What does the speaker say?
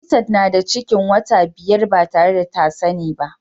Nefisat na da ciki wata biyar ba tare da ta sani ba